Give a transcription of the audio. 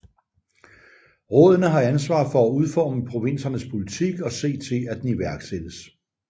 Rådene har ansvar for at udforme provinsernes politik og se til at den iværksættes